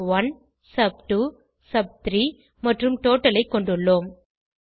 சப்1 sub two sub three மற்றும் total ஐ கொண்டுள்ளோம்